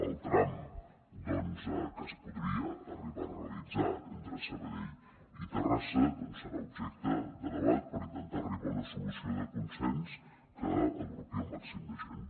el tram doncs que es podria arribar a realitzar entre sabadell i terrassa serà objecte de debat per intentar arribar a una solució de consens que agrupi el màxim de gent